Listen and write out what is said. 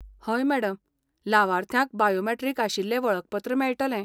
हय मॅडम! लावार्थ्यांक बायोमॅट्रीक आशिल्लें वळखपत्र मेळटलें.